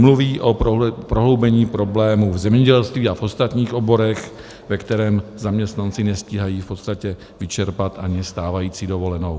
Mluví o prohloubení problémů v zemědělství a v ostatních oborech, ve kterých zaměstnanci nestíhají v podstatě vyčerpat ani stávající dovolenou.